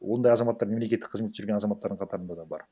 ондай азаматтар мемлекеттік қызметте жүрген азаматтардың қатарында да бар